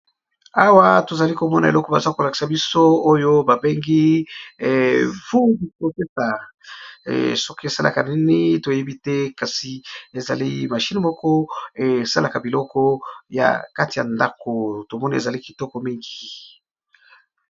Awa tozali komona eloko baza kolakisa biso machine moko esalaka biloko nakati ya ndako.